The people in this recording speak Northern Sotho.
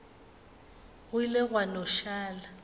go ile gwa no šala